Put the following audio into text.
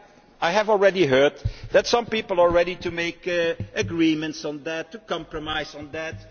basis. I have already heard that some people are ready to make agreements on that, to compromise